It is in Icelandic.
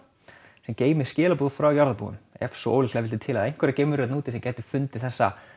sem geymir skilaboð frá jarðarbúum ef svo ólíklega vill til ef einhverjar geimverur þarna úti gætu fundið þessa